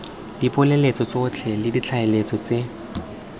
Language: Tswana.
dipoeletso tsotlhe le ditlaleletso tse